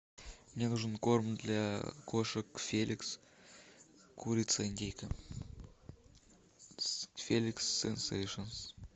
мне нужен корм для кошек феликс курица индейка феликс сенсейшенс